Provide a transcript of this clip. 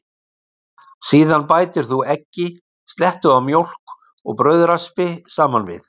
Síðan bætir þú eggi, slettu af mjólk og brauðraspi saman við.